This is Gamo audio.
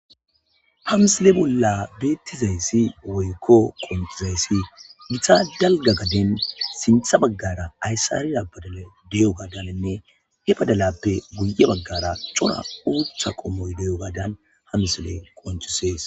ha msile bolla beettizayssi woykko qonxizayssi gita dalga gaden sintha baggara ayssariya bada de7o gadanenne he badalappe guye baggara cora uutha qommoy deyo badan hamsile qoncisees